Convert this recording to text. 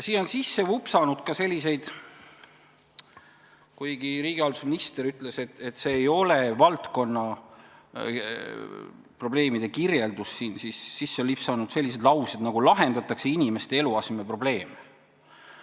Kuigi riigihalduse minister ütles, et see ei ole siin valdkonnaprobleemide kirjeldus, siis on siia sisse lipsanud sellised väljendid nagu "lahendatakse inimeste eluasemeprobleeme".